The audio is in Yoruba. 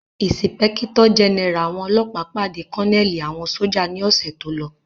Ìsìpẹ́kítọ̀ jẹ́nẹ́rà àwọn ọlọ́ọ̀pá pàdé kọ́nẹ̀lì àwọn sójà ní ọ̀sẹ̀ tólọ